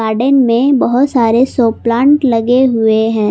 Garden में बहुत सारे शो प्लांट लगे हुए हैं।